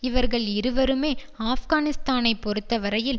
இவர்கள் இருவருமே ஆப்கானிஸ்தானை பொறுத்த வரையில்